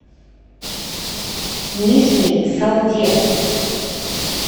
нижней салде